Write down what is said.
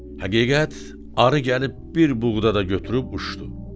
Həqiqət arı gəlib bir buğda da götürüb uçdu.